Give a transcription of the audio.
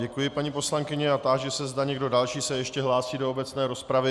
Děkuji, paní poslankyně, a táži se, zda někdo další se ještě hlásí do obecné rozpravy.